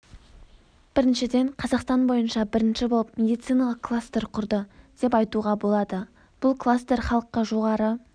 біріншіден қазақстан бойынша бірінші болып медициналық кластер құрды деп айтуға болады бұл кластер халыққа жоғары